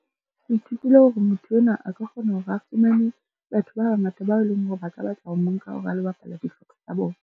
Ke ithutile hore motho enwa a ka kgona hore a fumane batho ba bangata, bao e leng hore ba ka batla ho mo nka hore a lo bapala dihlopha tsa bona.